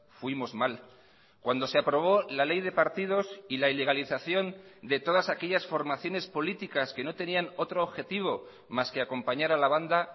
fuimos mal cuando se aprobó la ley de partidos y la ilegalización de todas aquellas formaciones políticas que no tenían otro objetivo más que acompañar a la banda